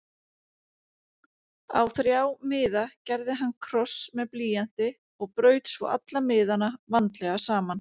Á þrjá miða gerði hann kross með blýanti og braut svo alla miðana vandlega saman.